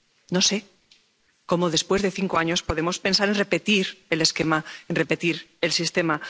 No sé cómo, después de cinco años, podemos pensar en repetir el esquema, en repetir el sistema.